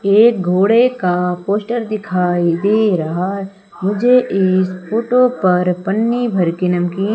ये घोड़े का पोस्टर दिखाइ दे रहा मुझे इस फोटो पर पन्ने भरके नमकीन--